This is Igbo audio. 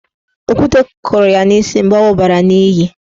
Okwute kụrụ ya n'isi mgbe ọ wụbara n'iyi.